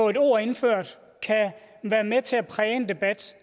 et ord indført kan være med til at præge en debat